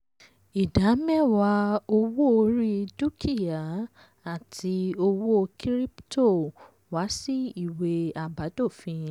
ìdá mẹwàá owó orí dúkìá àti owó kíríptò wá sí ìwé àbádòfin.